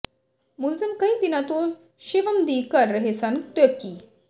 ਮੁਲਜ਼ਮ ਕਈ ਦਿਨਾਂ ਤੋਂ ਸ਼ਿਵਮ ਦੀ ਕਰ ਰਹੇ ਸਨ ਰੇਕੀ